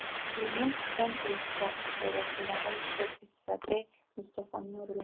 сүлеймен сұлтан телехикаясындағы шехзаде мустафаның рөлі